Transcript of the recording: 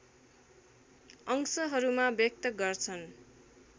अंशहरूमा व्यक्त गर्छन्